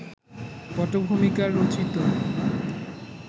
পটভূমিকার রচিত